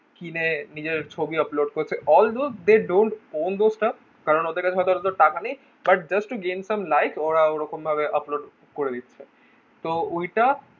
কিনে নিজেদের ছবি upload করছে all those they don't won those staff কারণ ওদের কাছে এত টাকা নেই but just to gain some like ওরা ওরকম ভাবে upload করে দিচ্ছে তো ঐটা